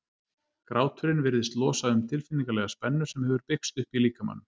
gráturinn virðist losa um tilfinningalega spennu sem hefur byggst upp í líkamanum